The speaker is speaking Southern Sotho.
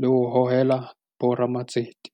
le ho hohela bo ramatsete.